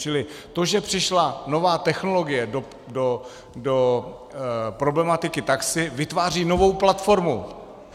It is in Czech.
Čili to, že přišla nová technologie do problematiky taxi, vytváří novou platformu.